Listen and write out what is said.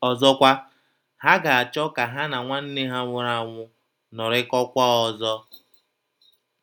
Ọzọkwa, ha ga-achọ ka ha na nwanne ha nwụrụ anwụ nọrịkọkwaa ọzọ.